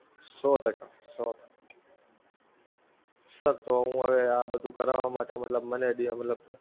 Sir તો હું હવે આ બધુ કરાવા માટે મતલબ મને બે મતલબ